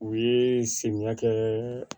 U ye samiya kɛ